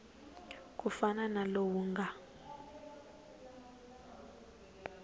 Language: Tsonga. ku fana na lowu nga